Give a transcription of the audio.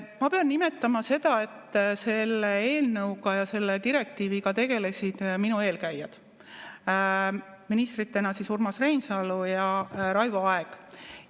Ma pean nimetama seda, et selle eelnõuga ja selle direktiiviga tegelesid minu eelkäijad, ministritena Urmas Reinsalu ja Raivo Aeg.